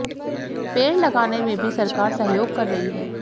पेड़ लगाने में भी सरकार सहयोग कर रही है